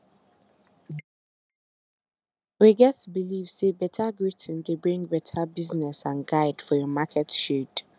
we get believe say beta greeting dey bring beta business and guide for your market shade